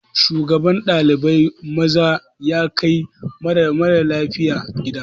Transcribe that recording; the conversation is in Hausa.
Shugaban ɗalibai maza ya kai ɗalibi mara lafiya gida.